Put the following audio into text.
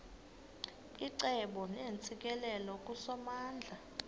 icebo neentsikelelo kusomandla